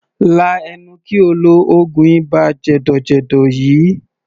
Lá ẹnu kí o lo oògùn ibà jẹ̀dọ̀jẹ̀dọ̀ yìí!